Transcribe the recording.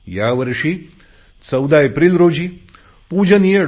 यावर्षी 14 एप्रिल रोजी पूजनीय डॉ